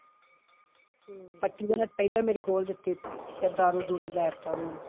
ਪੱਟੀ ਵੀ ਉਹਨੇ ਪਹਿਲਾਂ ਮੇਰੀ ਖੋਲ ਦਿੱਤੀ, ਫਿਰ ਦਾਰੂ ਦੂਰੂ ਲੈ ਦਿੱਤਾ ਉਹਨਾਂ।